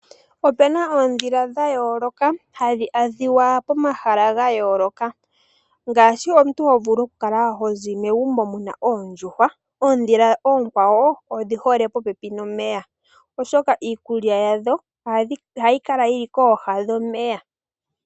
Opu na oondhila dha yooloka hadhi adhika pomahala ga yooloka. Ngaashi omuntu ho vulu okuza megumbo mu na oondjuhwa, ondhila dhimwe odhi hole popepi nomeya oshoka iikulya yawo ohayi kala yi li kooha dhomeya.